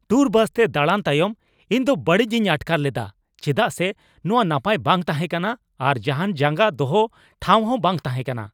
Tour ᱵᱟᱥᱛᱮ ᱫᱟᱬᱟᱱ ᱛᱟᱭᱚᱢ ᱤᱧᱫᱚ ᱵᱟᱹᱲᱤᱡᱤᱧ ᱟᱴᱠᱟᱨ ᱞᱮᱫᱟ ᱪᱮᱫᱟᱜ ᱥᱮ ᱱᱚᱶᱟ ᱱᱟᱯᱟᱭ ᱵᱟᱝ ᱛᱟᱦᱮᱸ ᱠᱟᱱᱟ ᱟᱨ ᱡᱟᱦᱟᱱ ᱡᱟᱸᱜᱟ ᱫᱚᱦᱚ ᱴᱷᱟᱶᱦᱚᱸ ᱵᱟᱝ ᱛᱟᱦᱮᱸ ᱠᱟᱱᱟ ᱾